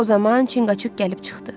O zaman Çinqaçuk gəlib çıxdı.